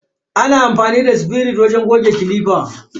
Ana amfani da sifirit wajen goge clipper.